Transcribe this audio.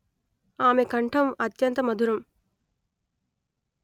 అమె కంఠం అత్యంత మధురం